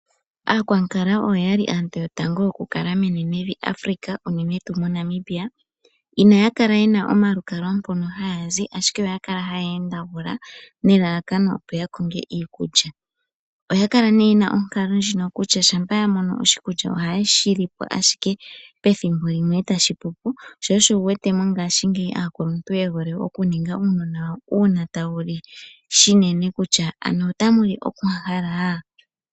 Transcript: Aakwankala oyo aantu yotango okukala menenevi Africa, unene tuu moNamibia. Inaya kala ye na omalukalwa mpono haya zi, ashike oya kala haya endegula nelalakano opo ya konge iikulya. Oya kala nduno ye na onkalo ndjono kutya shampa ya mono oshikulya ohaye shi li po ashike pethimbo limwe e tashi pu po. Sho osho wu wete ngaashingeyi aa kuluntu ye hole okuninga uunona wawo uuna tawu li unene kutya otawu li onkwankala.